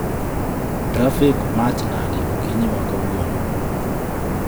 Trafik maach nade okinyi ma kawuono